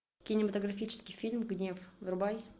кинематографический фильм гнев врубай